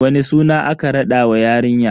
Wani suna aka raɗa wa yarinya?